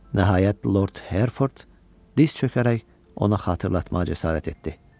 Nəhayət, Lord Herford diz çökərək ona xatırlatmağa cəsarət etdi.